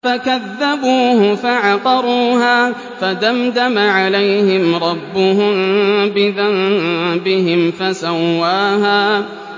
فَكَذَّبُوهُ فَعَقَرُوهَا فَدَمْدَمَ عَلَيْهِمْ رَبُّهُم بِذَنبِهِمْ فَسَوَّاهَا